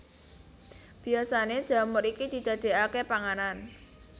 Biasané jamur iki didadékaké panganan